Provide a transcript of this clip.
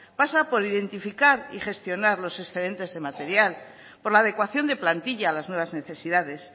pasa por identificar y gestionar los excedentes de material por la adecuación de plantilla a las nuevas necesidades